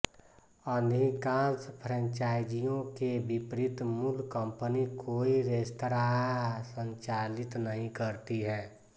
अधिकांश फ़्रैंचाइज़ियों के विपरीत मूल कंपनी कोई रेस्तरां संचालित नहीं करती है